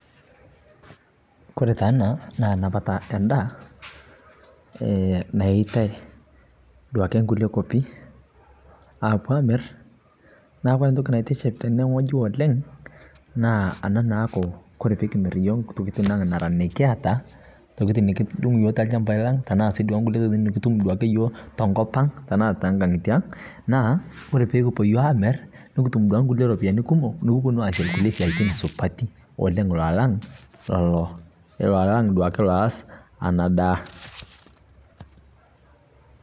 Kore taa anaa naa napata endaa nayeitai duake nkulie kopii apuo amir naa kore ntoki naitiship tenee ng'oji oleng' naa ana naaku kore pikimir yooh ntokitin ang' naraa nikiata ntokitin nikidung' yooh telshampai lang' tanaa sii duake tonkulie tokitin nukutum sii duake yooh tonkopang' tanaa tenkangite ang' naa kore pukupuo yooh amir nukutum duake nkulie ropiyani kumoo nukuponuu aasie lkulie siatin supatii oleng' alang' leloo lang' loaz anaa daa.